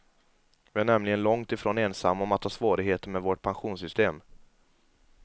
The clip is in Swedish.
Vi är nämligen långt ifrån ensamma om att ha svårigheter med vårt pensionssystem.